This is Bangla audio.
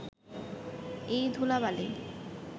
এই ধূলা-বালি